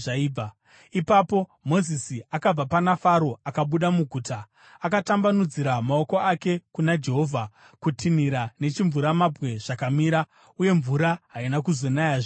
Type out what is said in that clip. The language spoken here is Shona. Ipapo Mozisi akabva pana Faro akabuda muguta. Akatambanudzira maoko ake kuna Jehovha; kutinhira nechimvuramabwe zvakamira, uye mvura haina kuzonayazve panyika.